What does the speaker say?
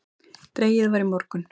Dregið var í morgun